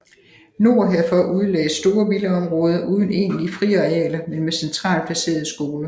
Nord herfor udlagdes store villaområder uden egentlige friarealer men med centralt placerede skoler